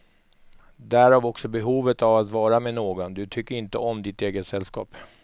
Därav också behovet av att vara med någon, du tycker inte om ditt eget sällskap.